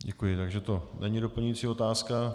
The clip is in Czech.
Děkuji, takže to není doplňující otázka.